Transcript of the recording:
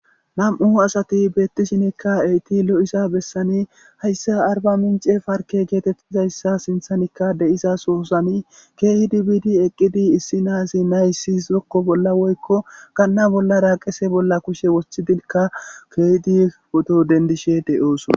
nam7u asati beettishinikka eyti lo7isa bessani hayssa arba mince farke geetettizayssa sinthanikka deiza soosani keehi dibidi eqqidi issi naazi naysiszokko bolla woykko ganna bollara qese bolla kushe wothidinkka keydi poto dendishe deyooso